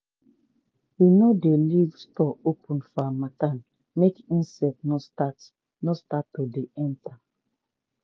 we no dey leave store open for harmattan make insect no start no start to dey enter.